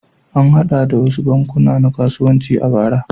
An haɗu da wasu bankuna na kasuwanci a bara.